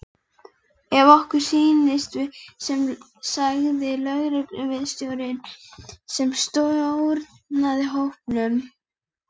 Ef okkur sýnist svo sagði lögregluvarðstjórinn sem stjórnaði hópnum.